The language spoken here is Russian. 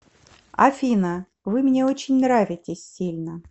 афина вы мне очень нравитесь сильно